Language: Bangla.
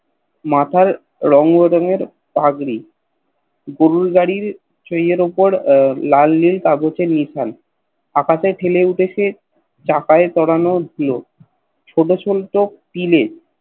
মাথায় রঙ রঙের পাগড়ি গরুরগাড়ির তেরের ওপর লাল নীল কাগজের নিথল আকাশে খেলে উঠেছে চাকায় ছড়ানো ধুলো ছোট ছোট টিলে